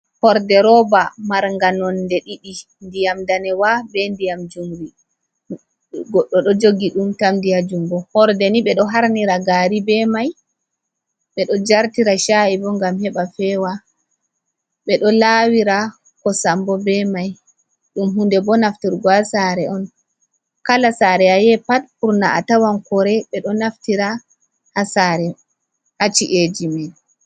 Horde roba manga nonde ɗiɗi. Ndiyam ndanewa be ndiyam jumri. Goɗɗo ɗo jogi ɗum tam di ha jungo. Horde ni ɓe ɗo harnira gari be mai, ɓe ɗo jartira shayibo ngam heɓa fewa, ɓe ɗo lawira kosambo be mai. Ɗum hunde ko ɓe naftirta ha sare on. Kala sare ayahi pat burna atawan kore ɓe ɗo naftira ha ci’eji men.